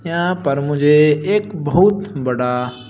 यहां पर मुझे एक बहुत बड़ा--